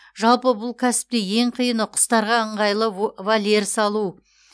жалпы бұл кәсіпте ең қиыны құстарға ыңғайлы вольер салу